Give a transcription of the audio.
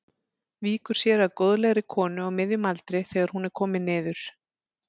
Víkur sér að góðlegri konu á miðjum aldri þegar hún er komin niður.